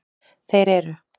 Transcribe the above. Þeir eru: